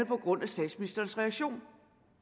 baggrund i statsministerens reaktion